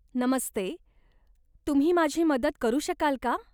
नमस्ते, तुम्ही माझी मदत करू शकाल का?